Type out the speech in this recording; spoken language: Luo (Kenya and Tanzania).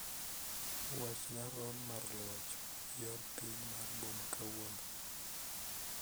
Wachna rom mar luoch yor piny mar boma kawuono